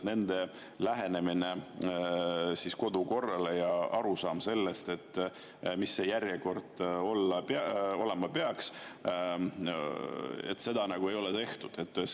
Lähenemine kodukorrale ja arusaam sellest, mis see järjekord olema peaks, seda nagu ei ole.